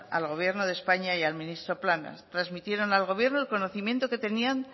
al gobierno de españa y al ministro planas transmitieron al gobierno el conocimiento que tenían